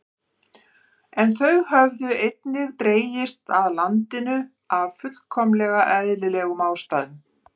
En þau höfðu einnig dregist að landinu af fullkomlega eðlilegum ástæðum.